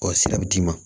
Ɔ sira bɛ d'i ma